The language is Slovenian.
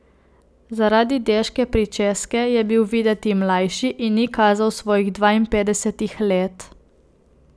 Zaradi deške pričeske je bil videti mlajši in ni kazal svojih dvainpetdesetih let.